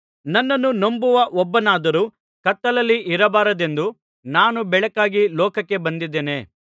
ನನ್ನನ್ನು ನಂಬುವ ಒಬ್ಬನಾದರೂ ಕತ್ತಲಲ್ಲಿ ಇರಬಾರದೆಂದು ನಾನು ಬೆಳಕಾಗಿ ಲೋಕಕ್ಕೆ ಬಂದಿದ್ದೇನೆ